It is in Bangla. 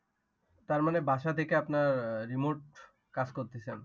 তার মানে বাসা থেকে আপনার remote কাজ করতেছেন।